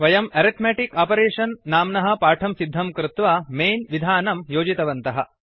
वयम् arithmetic operation नाम्नः पाठं सिद्धं कृत्वा मैन् विधानं योजितवन्तः